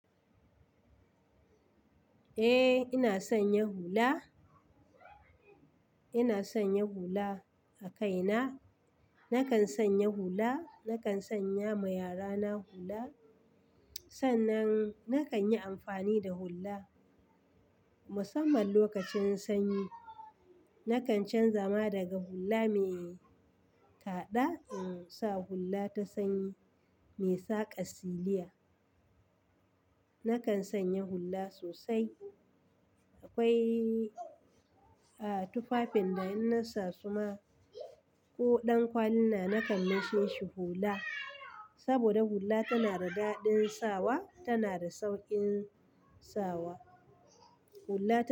Eh, ina sanya hula. Ina sanya hula a kaina. Nakan sanya hula, nakan sanya ma yara na hula. Sannan nakan yi amfani da hula musamman lokacin sanyi. Nakan canza ma daga hula mai ta'adda in sa hula ta sanyi mai saka siliya. Nakan sanya hula sosai. Akwai, a, tufafin da in na sa suma ko ɗan kwali na nakan manshe shi hula. Saboda hula tana da daɗin sawa tana da sauƙin sawa. Hula ta.